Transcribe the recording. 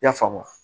I y'a faamu wa